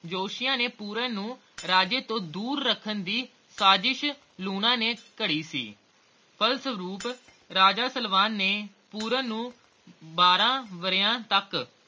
ਜੋਤਸ਼ੀਆਂ ਨੇ ਪੂਰਨ ਨੂੰ ਰਾਜੇ ਤੋਂ ਦੂਰ ਰੱਖਣ ਦੀ ਸਾਜਿਸ਼ ਲੂਣਾ ਨੇ ਘੜੀ ਸੀ ਫਲਸਰੂਪ ਰਾਜਾ ਸਲਵਾਨ ਨੇ ਪੂਰਨ ਨੂੰ ਬਾਰਹ ਵਰਿਆ ਤਕ